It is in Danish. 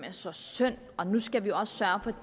er så synd og nu skal man også sørge